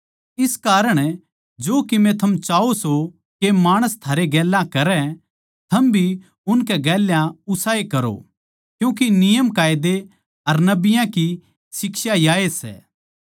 इस कारण जो किमे थम चाहो सों के माणस थारै गेल्या करै थम भी उनकै गेल्या उसाए करो क्यूँके नियमकायदे अर नबियाँ की शिक्षा याए सै